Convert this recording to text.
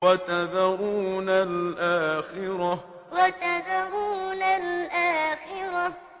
وَتَذَرُونَ الْآخِرَةَ وَتَذَرُونَ الْآخِرَةَ